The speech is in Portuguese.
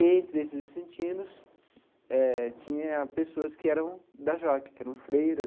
E, entre esses vicentinos eh, tinha pessoas que eram da JOC, que eram freiras.